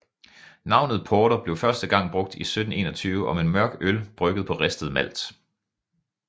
Navnet porter blev første gang brugt i 1721 om en mørk øl brygget på ristet malt